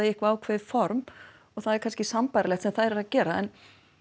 í eitthvað ákveðið form og það er kannski sambærilegt sem þær eru að gera en